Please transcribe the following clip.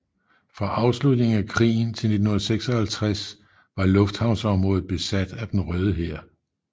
Fra afslutningen af krigen til 1956 var lufthavnsområdet besat af Den Røde Hær